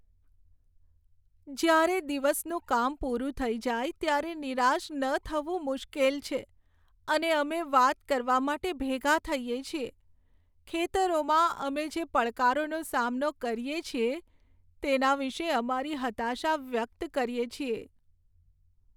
જ્યારે દિવસનું કામ પૂરું થઈ જાય ત્યારે નિરાશ ન થવું મુશ્કેલ છે, અને અમે વાત કરવા માટે ભેગા થઈએ છીએ, ખેતરોમાં અમે જે પડકારોનો સામનો કરીએ છીએ તેના વિશે અમારી હતાશા વ્યક્ત કરીએ છીએ.